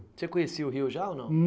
Você conhecia o Rio já ou não?